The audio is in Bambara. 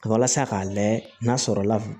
Walasa k'a layɛ n'a sɔrɔ la